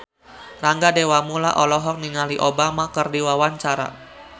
Rangga Dewamoela olohok ningali Obama keur diwawancara